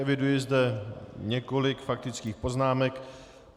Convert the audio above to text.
Eviduji zde několik faktických poznámek.